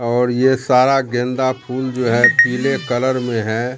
और ये सारा गेंदा फूल जो है पीले कलर में है।